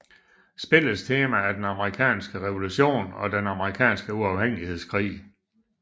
Spillets tema er den amerikanske revolution og den amerikanske uafhængighedskrig